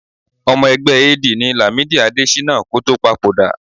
Ọmọ ẹgbẹ́ AD ni Làmídì Adéṣínà kó tó papòdà